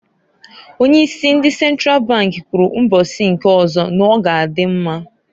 Onye isi ndi Sentral bank kwuru mbosi nke ozo n'ọga adị mma.